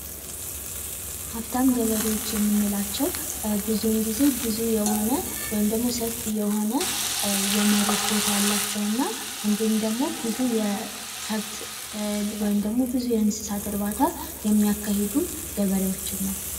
ሀብታም ገበሬዎች የምንላቸው ብዙውን ጊዜ ብዙ የሆነ ወይም ደሞ ሰፊ የሆነ የመሬት ቦታ ያላቸው እና እንዲሁም ደግሞ ብዙ የከብት ወይም ደግሞ ብዙ የእንስሳት እርባታ የሚያካሂዱ ገበሬዎችን ነው።